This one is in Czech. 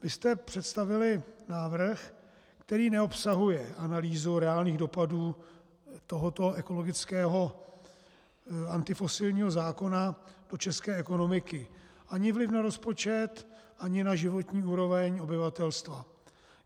Vy jste představili návrh, který neobsahuje analýzu reálných dopadů tohoto ekologického antifosilního zákona do české ekonomiky, ani vliv na rozpočet, ani na životní úroveň obyvatelstva.